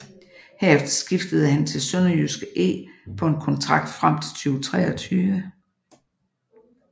Herefter skiftede han til SønderjyskE på en kontrakt frem til 2023